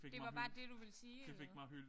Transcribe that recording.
Det var bare det du ville sige eller?